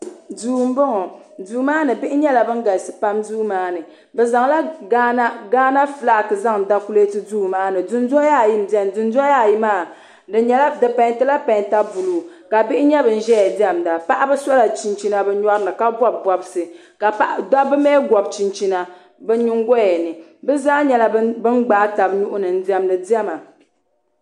Duu n boŋɔ duumaani bihi nyɛla ban galisipam bɛ zanla Gaana fulaaki zan dakulɛti duumaani dun doyayi n bɛni dundoyayi ka bihi nvyɛ bin diɛmda aɣa nyɛa ban so chinchina bi nyorini ka bobi bobisi ka paaba mi gobi chinchina bɛ nin goyayani bɛ zaa gbnaa tabi bɛ nuhini n diɛmdi dɛma